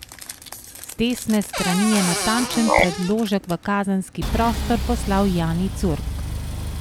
Z desne strani je natančen predložek v kazenski prostor poslal Jani Curk.